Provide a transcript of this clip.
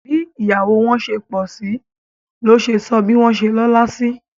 Bí ìyàwó wọn ṣe pọ̀sí ló sọ bí wọ́n ṣe lọ́la sí